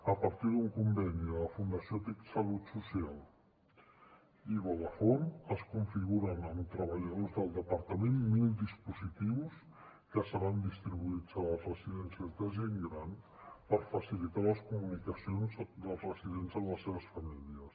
a partir d’un conveni de la fundació tic salut social i vodafone es configuren amb treballadors del departament mil dispositius que seran distribuïts a les residències de gent gran per facilitar les comunicacions dels residents amb les seves famílies